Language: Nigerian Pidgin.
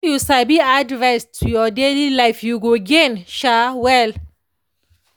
if you sabi add rest to your daily life you go gain um well.